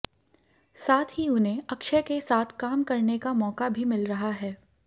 साथ ही उन्हें अक्षय के साथ काम करने का मौका भी मिल रहा है